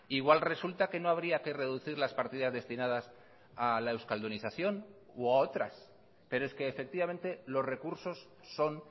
igual resulta que no habría que reducir las partidas destinadas a la euskaldunización u a otras pero es que efectivamente los recursos son